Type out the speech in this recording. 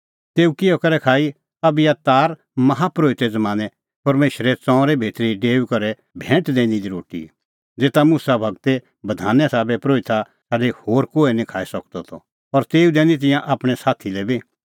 तेऊ किहअ करै खाई अबियातार माहा परोहिते ज़मानैं परमेशरे ताम्बू भितरी डेऊई करै भैंट दैनी दी रोटी ज़ेता मुसा गूरे बधाने साबै परोहिता छ़ाडी होर कोहै निं खाई सकदअ त और तेऊ दैनी तिंयां आपणैं साथी लै बी